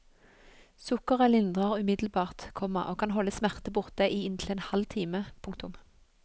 Sukkeret lindrer umiddelbart, komma og kan holde smerte borte i inntil en halv time. punktum